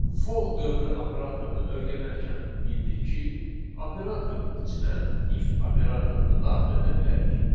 For dövrü operatorunu öyrənərkən bildik ki, operatorun içinə if operatorunu daxil edə bilərik.